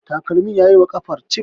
takalmin ya yi wa ƙafar cif